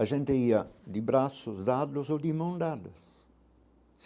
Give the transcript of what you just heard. A gente ia de braços, dados ou de mãos dadas.